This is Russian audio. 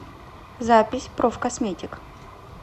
запись профкосметик